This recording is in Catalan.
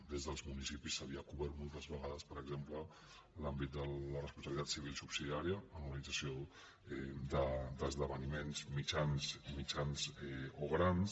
des dels municipis s’havia cobert moltes vegades per exemple l’àmbit de la responsabilitat civil subsidiària en l’organització d’esdeveniments mitjans o grans